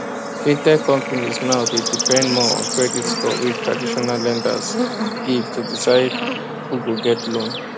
fintech companies now dey depend more on credit score wey traditional lenders give to decide who go get loan